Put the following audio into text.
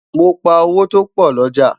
mọ pá owó topo l'ọja